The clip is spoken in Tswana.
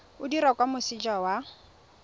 o dirwa kwa moseja wa